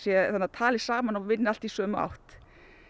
tali saman og vinni allt í sömu átt